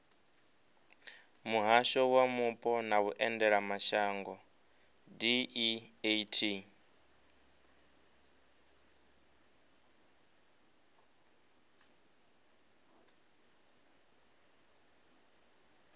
muhasho wa mupo na vhuendelamashango deat